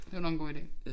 Det var nok en god ide